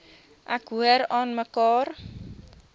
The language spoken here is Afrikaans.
ek hoor aanmekaar